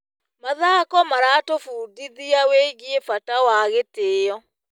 Mathako maratũbundithia wĩgiĩ bata wa gĩtĩo.